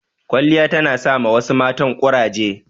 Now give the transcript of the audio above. Kwaliya ta na sa ma wasu matan ƙuraje